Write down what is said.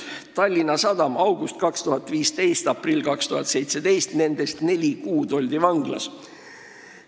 Tallinna Sadam: augustist 2015 kuni aprillini 2017, nendest neli kuud oldi vanglas.